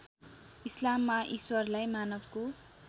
इस्लाममा ईश्वरलाई मानवको